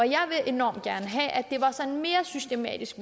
jeg enormt gerne have at det var sådan mere systematisk